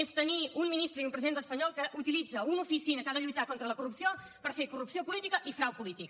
és tenir un ministre i un president espanyol que utilitzen una oficina que ha de lluitar contra la corrupció per fer corrupció política i frau polític